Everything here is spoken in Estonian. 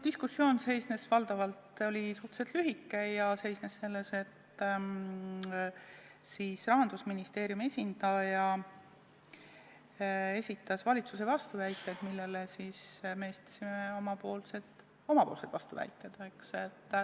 Diskussioon oli suhteliselt lühike ja seisnes selles, et Rahandusministeeriumi esindaja esitas valitsuse vastuväited, millele siis meie esitasime omapoolsed vastuväited.